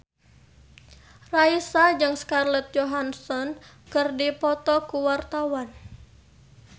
Raisa jeung Scarlett Johansson keur dipoto ku wartawan